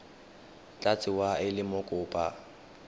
tla tsewa e le mokopa